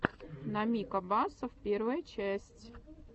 намик абасов первая часть